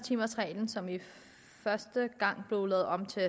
timers reglen som først blev lavet om til